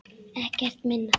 Ekkert minna.